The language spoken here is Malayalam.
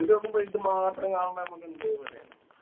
നോക്കുമ്പോ ഇതു മാത്രം കാണുമ്പോ നമുക്ക്